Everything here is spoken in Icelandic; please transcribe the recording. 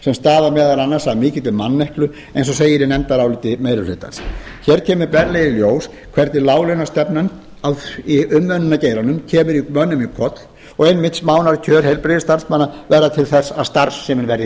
sem stafar meðal annars af mikilli manneklu eins og segir í nefndaráliti meiri hlutans hér kemur berlega í ljós hvernig láglaunastefnan í umönnunargeiranum kemur mönnum í koll og einmitt smánarkjör heilbrigðisstarfsmanna verða til þess að starfsemin verður